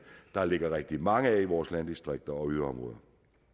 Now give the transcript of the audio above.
der ligger rigtig mange af i vores landdistrikter og yderområder